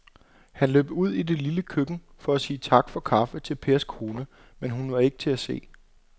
Han løb ud i det lille køkken for at sige tak for kaffe til Pers kone, men hun var ikke til at se.